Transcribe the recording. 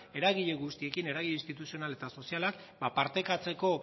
eragile guztiekin eragin instituzional eta sozialak partekatzeko